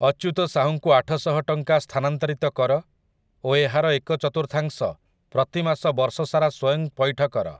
ଅଚ୍ୟୁତ ସାହୁଙ୍କୁ ଆଠଶହ ଟଙ୍କା ସ୍ଥାନାନ୍ତରିତ କର ଓ ଏହାର ଏକ ଚତୁର୍ଥାଂଶ ପ୍ରତିମାସ ବର୍ଷ ସାରା ସ୍ୱୟଂ ପଇଠ କର